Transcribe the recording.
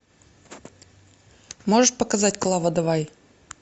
можешь показать клава давай